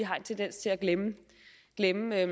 har en tendens til at glemme glemme jer